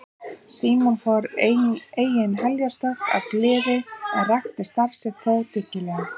Símon fór engin heljarstökk af gleði en rækti starf sitt þó dyggilega.